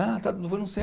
Ah, tá foi não sei aonde.